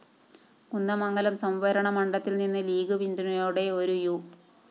കുന്ദമംഗലം സംവരണമണ്ഡലത്തില്‍നിന്ന് ലീഗ്‌ പിന്തുണയോടെ ഒരു യു